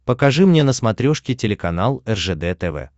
покажи мне на смотрешке телеканал ржд тв